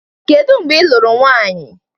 Kedu mgbe ị lụrụ nwaanyị?